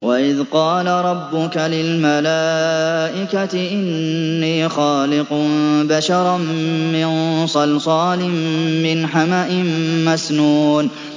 وَإِذْ قَالَ رَبُّكَ لِلْمَلَائِكَةِ إِنِّي خَالِقٌ بَشَرًا مِّن صَلْصَالٍ مِّنْ حَمَإٍ مَّسْنُونٍ